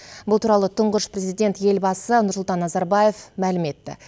бұл туралы тұңғыш президент елбасы нұрсұлтан назарбаев мәлім етті